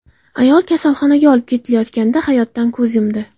Ayol kasalxonaga olib ketilayotganida hayotdan ko‘z yumdi.